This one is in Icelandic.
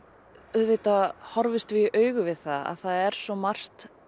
auðvitað horfumst við í augu við það að það er svo margt